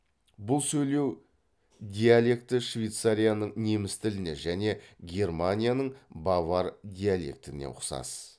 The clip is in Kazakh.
бұл сөйлеу диалекті швейцарияның неміс тіліне және германияның бавар диалектіне ұқсас